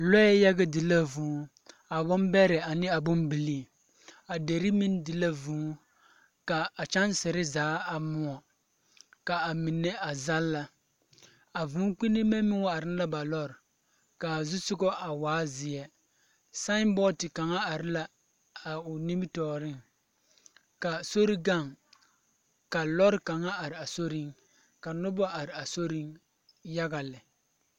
lɔɛ yaga di la vũũ. A bombɛrɛ ane a bombilii. A deri meŋ di vũũ ka kyansere zaa a moɔ, ka a mine a zalla. A vũũkpinime meŋ wa are ne ba lɔr ka o zusoga a waa zeɛ sambɔɔte kaŋa are la ao nimitɔɔreŋ ka sori gaŋ ka lɔre kaŋa are a sori ka noba yare a soriŋyaga lɛ.